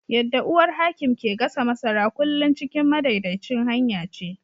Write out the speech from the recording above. Yadda uwar Hakim ke gasa masara, kullum cikin madaidaicin hanya ce.